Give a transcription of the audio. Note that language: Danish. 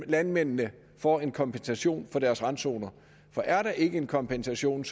landmændene får en kompensation for deres randzoner for er der ikke en kompensation